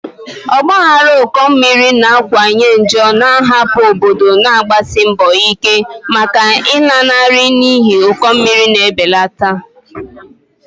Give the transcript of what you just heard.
Ọgba aghara ụkọ mmiri na-akawanye njọ, na-ahapụ obodo na-agbasi mbọ ike maka nlanarị n'ihi ụkọ mmiri na-ebelata.